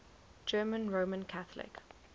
german roman catholic